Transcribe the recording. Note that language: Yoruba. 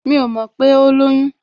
Mi ò mọ̀ pé ó lóyún